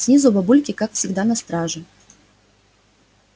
снизу бабульки как всегда на страже